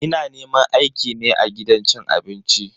Ina neman aiki ne a gidan cin abinci.